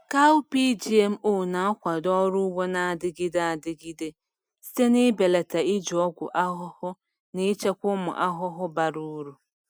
Cowpea GMO na-akwado ọrụ ugbo na-adịgide adịgide site n’ibelata iji ọgwụ ahụhụ na ichekwa ụmụ ahụhụ bara uru.